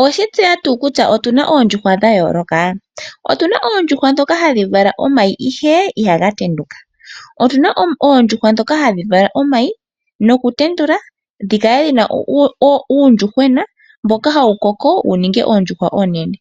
Otuna oondjuhwa ndhoka hadhi vala omayi ihe ihaga tenduka, otuna oondjuhwa ndhoka hadhi vala omayi noku tendula dhikale dhina uundjuhwena mboka hawu koko wuninge oondjuhwa oonene.